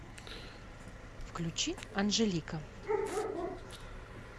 включи анжелика